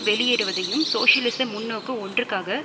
வெளியேறுவதையும் சோசியலிச முன்நோக்கு ஒன்றுக்காக